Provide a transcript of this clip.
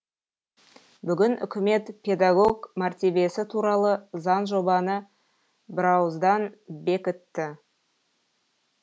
бүгін үкімет педагог мәртебесі туралы заңжобаны бірауыздан бекітті